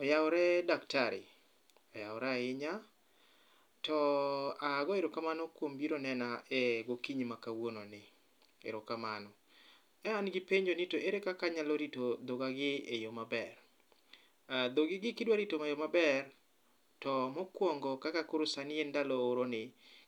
Oyawore daktari, oyawore ahinya. To a go erokamno kuom biro nena e gokinyi ma kawuono ni, erokamano. E an gi penjo ni to ere kaka anyalo rito dhoga gi e yo maber. E dhogi gi kidwa rito e yo maber, to mokwongo kaka koro sani en ndalo oro ni,